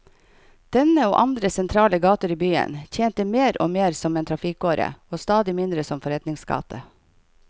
Denne, og andre sentrale gater i byen, tjente mer og mer som en trafikkåre og stadig mindre som forretningsgate.